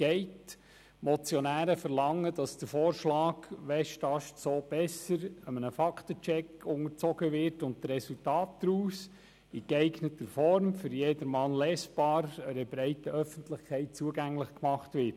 Die Motionäre verlangen, dass der Vorschlag «Westast so besser» einem Fakten-Check unterzogen wird und die Resultate in geeigneter Form, für jedermann lesbar, einer breiten Öffentlichkeit zugänglich gemacht werden.